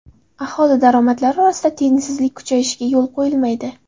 Aholi daromadlari orasida tengsizlik kuchayishiga yo‘l qo‘yilmaydi.